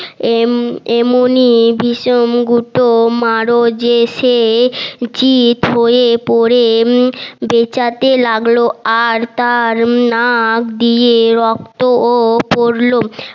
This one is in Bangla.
এম এমনি চিত হয়ে পরে চেঁচাতে লাগলো আর তার নাক দিয়ে রক্তও পড়লো